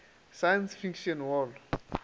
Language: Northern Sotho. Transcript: science fiction hall